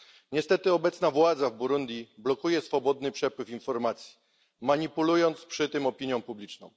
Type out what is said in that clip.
Niestety obecna władza w Burundi blokuje swobodny przepływ informacji, manipulując przy tym opinią publiczną.